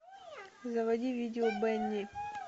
заводи видео бенни